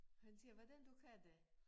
Han siger hvordan du kan det